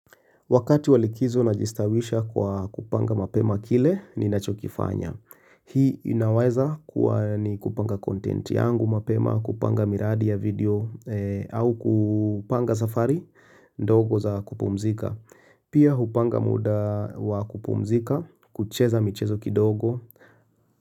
Wakati wa likizo najistawisha kwa kupanga mapema kile ninachokifanya Hii inaweza kuwa ni kupanga content yangu mapema kupanga miradi ya video au kupanga safari ndogo za kupumzika Pia kupanga muda wa kupumzika, kucheza michezo kidogo.